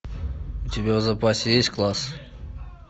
у тебя в запасе есть класс